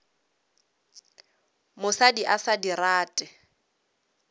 mosadi a sa di rate